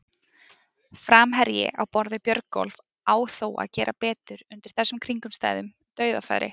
Framherji á borð við Björgólf á þó að gera betur undir þessum kringumstæðum, dauðafæri!